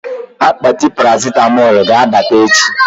Akpati Parasịtamọ ga-abata echi